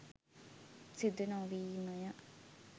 සිදු නොවීමය